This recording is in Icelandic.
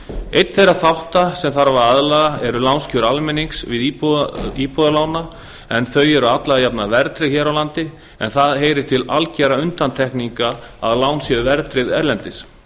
einn þeirra þátta sem þarf að að laga eru lánskjör almennings við íbúðarlán en þau eru alla jafna verðtryggð hér á landi en það heyrir til algjörra undantekninga að lán séu verðtryggð erlendis